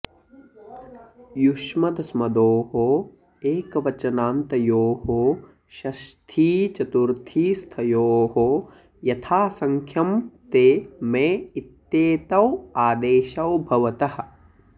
युष्मदस्मदोः एकवचनान्तयोः षष्थीचतुर्थीस्थयोः यथासङ्ख्यं ते मे इत्येतौ आदेशौ भवतः